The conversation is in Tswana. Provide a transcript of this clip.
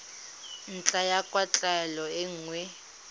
ntlha ya kwatlhao e nngwe